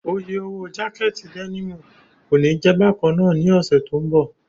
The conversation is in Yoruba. Oye owó jákẹ̀tì dẹ́nìmù kòní jẹ̀ bákannáà ní ọ̀sẹ̀ tó ń bọ̀.